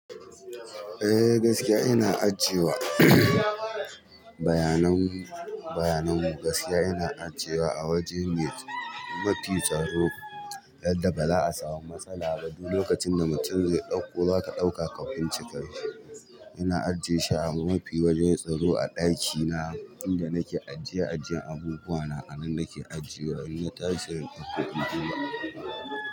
Eh gaskiya ina ajiye wa bayanan gaskiya ina ajiyewa a waje mafi tsaro yanda baza'a samu matsala ba duk lokacinda mutum ze ɗakko zaka ɗauka ka kunce ina ajiye shi a mafi wajen tsaro a ɗakina inda nake ajiye ajjen abubuwa na a nan nake ajiye wa in na tashi se in fito in duba.